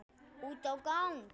Út á gang.